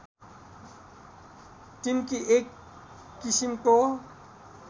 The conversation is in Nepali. टिम्की एक किसिमको